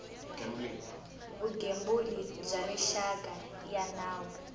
vugembuli bya rixaka ya nawu